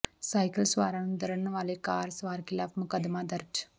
cycle ਸਵਾਰਾਂ ਨੂੰ ਦਰੜਨ ਵਾਲੇ ਕਾਰ ਸਵਾਰ ਿਖ਼ਲਾਫ਼ ਮੁਕੱਦਮਾ ਦਰਜ